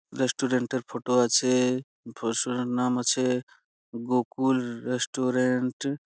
রেস্টুরেন্টের ফটো আছে -এর নাম আছে গোকুল রেস্টুরেন্ট ।